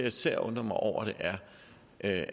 især undrer mig over det er at